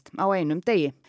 á einum degi